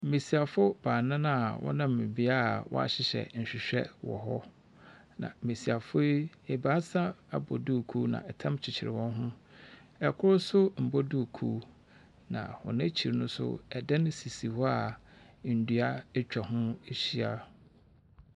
Besiafo baanan a wɔnam beae a wɔhyehyɛ nhwehwɛ wɔhɔ. Na mmesiafo yi abaasa abɔ duku, na ɛtam kyekyere wɔn ho. Ɛkoro nso mmɔ duku. Na wɔn akyi no so ɛdan sisi hɔ a ndua etwa ho ahyia.